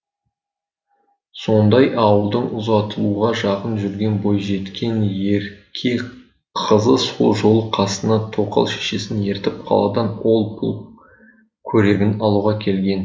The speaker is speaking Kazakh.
сондай ауылдың ұзатылуға жақын жүрген бойжеткен ерке қызы сол жолы қасына тоқал шешесін ертіп қаладан ол пұл көрегін алуға келген